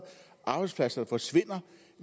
arbejdspladser forsvinder